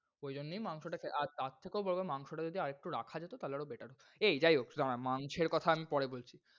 ওই জন্যই মাংসটা কে, আর তার থেকেও বড় কথা মাংসটা যদি আর একটু রাখা যেত তাহলে আরও better হোত। এই যায় হোক দ্বারা মাংসের কথা আমি পরে বলছি।